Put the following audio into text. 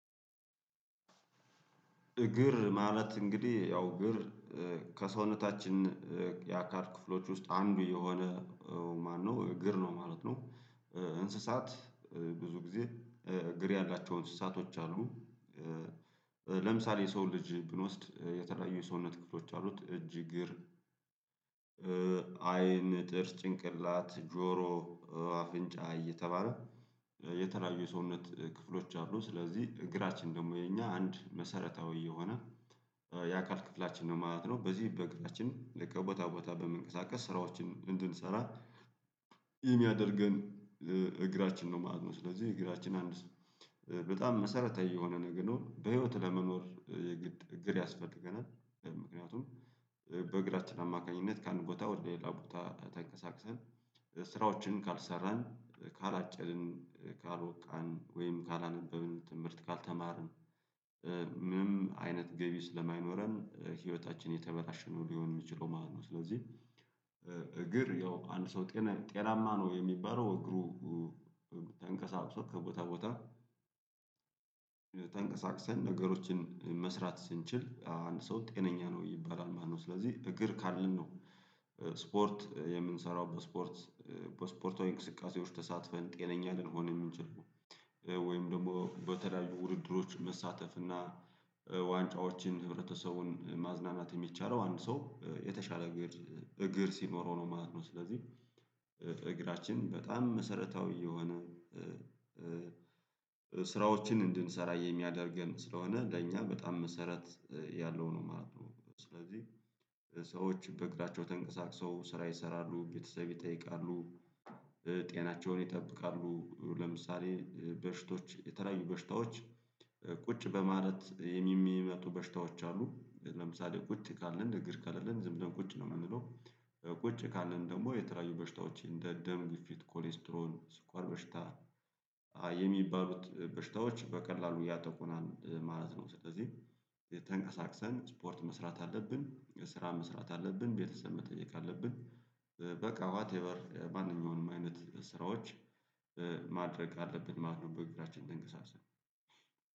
እግር ማለት እንግዲህ ያው እግር ከሰውነታችን የአካል ክፍሎች ውስጥ አንዱ የሆነ ማነው እግር ነው ማለት ነው። እንስሳት ብዙ ጊዜ እግር ያላቸው አንስሳቶች አሉ። ለምሳሌ የሰውን ልጅ ብንወስድ የተለያዩ የሰውነት ክፍሎች አሉት እጅ እግር አይን ጥርስ ጭንቅላት ጆሮ አፍንጫ እየተባለ የተለያዩ የሰውነት ክፍሎች አሉ ስለዚህ እግራችን ደግሞ የኛ አንድ መሰረታዊ የሆነ የአካል ክፍላችን ነው ማለት ነው። በዚህ በእግራችን ልክ ቦታ ቦታ በመንቀሳቀስ ስራዎችን እንድንሰራ የሚያደርገን እግራችን ነው ማለት ነዉ። ስለዚህ እግራችን አንድ ስም በጣም መሰረታዊ የሆነ ነገር ነው። በህይወት ለመኖር የግድ እግር ያስፈልገናል ምክንያቱም በእግራችን አማካኝነት ከአንድ ቦታ ወደ ሌላ ቦታ ተንቀሳቅሰን ስራዎችን ካልሰራን ካላጨድን ካልቦቃን ወይም ካላነበብን ትምህርት ካልተማርን ምንም አይነት ገቢ ስለማይኖረን ህይወታችን የተበላሽ ነው ሊሆን የሚችለው ማለት ነው ስለዚህ እግር ያው አንድ ሰው ጤናማ ነው የሚባለው እግሩ ተንቀሳቅሶ ከቦታ ቦታ ተንቀሳቅሰን ነገሮችን መስራት ስንችል አንድ ሰው ጤነኛ ነው ይባላል ማለት ነው። ስለዚህ እግር ካለን ነው ስፖርት የምንሰራው በስፖርት በስፖርታዊ እንቅስቃሴዎች ተሳትፈን ጤነኛ ልንሆን የምንችለው። ወይም ደግሞ በተለያዩ ውድድሮች መሳተፍ እና ዋንጫዎችን ህብረተሰቡን ማዝናናት የሚቻለው አንድ ሰው የተሻለ እግር እግር ሲኖረው ነው ማለት ነው። ስለዚህ እግራችን በጣም መሰረታዊ የሆነ ስራዎችን እንድንሰራ የሚያደርገን ስለሆነ ለእኛ በጣም መሰረት ያለው ነው ማለት ነው ስለዚህ ሰዎች በእግራቸው ተንቀሳቅሶ ስራ ይሰራሉ ቤተሰብ ይጠይቃሉ ጤናቸውን ይጠብቃሉ ለምሳሌ በሽታዎች የተለያዩ በሽታዎች ቁጭ በማለት የሚመጡ በሽታዎች አሉ ለምሳሌ ቁጭ ካለን እግር ካለልን ዝም ብለን ቁጭ ነው የምንለው ቁጭ ካለን ደግሞ የተለያዩ በሽታዎች እንደ ደም ግፊት ኮሌስትሮል ስኳር በሽታ የሚባሉት በሽታዎች በቀላሉ ያጠቁናል ማለት ነው። ስለዚህ ተንቀሳቅሰን ስፖርት መስራት አለብን ስራ መስራት አለብን ቤተሰብ መጠየቅ አለብን በቃ ዋቴቨር ማንኛውንም አይነት ስራዎች ማድረግ አለብን ማለት ነው በእግራችን ትንቀሳቅሰን